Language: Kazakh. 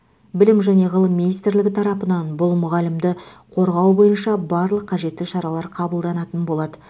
білім және ғылым министрлігі тарапынан бұл мұғалімді қорғау бойынша барлық қажетті шаралар қабылданатын болады